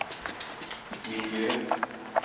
miljö